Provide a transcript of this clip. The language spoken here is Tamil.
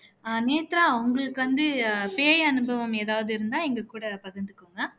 அஹ் நேத்ரா உங்களுக்கு வந்து பேய் அனுபவம் எதாவது இருந்தா எங்க கூட பகிர்ந்துக்கோங்க